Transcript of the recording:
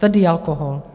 Tvrdý alkohol.